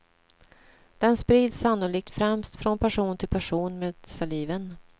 Den sprids sannolikt främst från person till person med saliven.